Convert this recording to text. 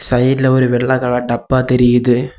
சைடுல ஒரு வெள்ளை கலர் டப்பா தெரியுது.